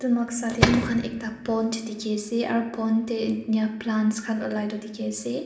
Noksa dae mokhan ekta pond dekhey ase aro pond dae enya plants khan ulai toh dekhey ase.